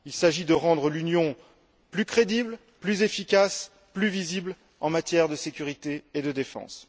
Il s'agit de rendre l'Union plus crédible, plus efficace, plus visible en matière de sécurité et de défense.